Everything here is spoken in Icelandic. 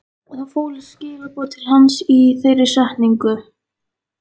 Það fólust skilaboð til hans í þeirri setningu.